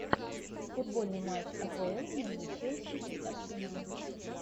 футбольный матч апл между челси и арсеналом